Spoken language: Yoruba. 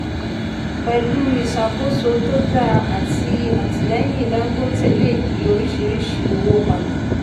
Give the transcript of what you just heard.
pẹ̀lú ìṣàkóso to dáa àti àtìlẹ́yìn dangote lè yí oríṣìíríṣìí owó padà.